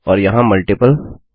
और यहाँ मल्टीपल